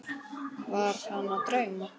Var hana að dreyma?